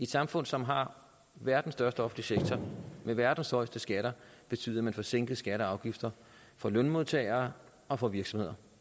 samfund som har verdens største offentlige sektor med verdens højeste skatter betyde at man får sænket skatter og afgifter for lønmodtagere og for virksomheder